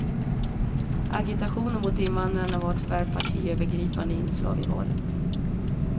Agitation mot invandrare var tyvärr partiövergripande inslag i valet.